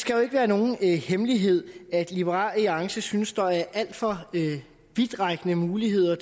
skal jo ikke være nogen hemmelighed at liberal alliance synes at der er alt for vidtrækkende muligheder